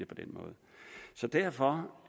på den måde så derfor